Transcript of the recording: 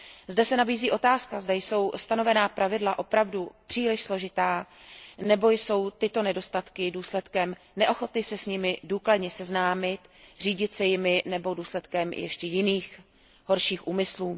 Zde se nabízí otázka, zda jsou stanovená pravidla opravdu příliš složitá nebo jsou tyto nedostatky důsledkem neochoty se s nimi důkladně seznámit, řídit se jimi nebo důsledkem ještě jiných horších úmyslů.